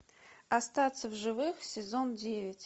остаться в живых сезон девять